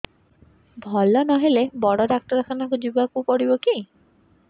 ଭଲ ନହେଲେ ବଡ ଡାକ୍ତର ଖାନା ଯିବା କୁ ପଡିବକି